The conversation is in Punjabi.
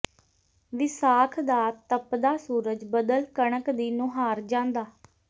ਵਿਸਾਖ ਦਾ ਤਪਦਾ ਸੂਰਜ ਬਦਲ ਕਣਕ ਦੀ ਨੁਹਾਰ ਜਾਂਦਾ